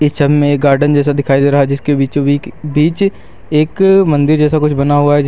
Picture में एक garden जैसा दिखाई दे रहा है जिसके बीचों बीच एक मंदिर जैसा कुछ बना हुआ है।